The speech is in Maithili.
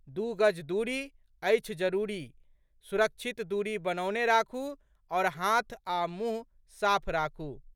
दू गज दूरी, अछि जरूरी, सुरक्षित दूरी बनौने राखू आओर हाथ आ मुंह साफ राखू।